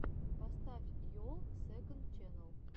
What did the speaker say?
поставь йолл сэконд ченнал